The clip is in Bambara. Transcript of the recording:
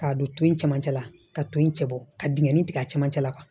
K'a don to in camancɛ la ka to in cɛ bɔ ka dingɛ tigɛ a camancɛ la kuwa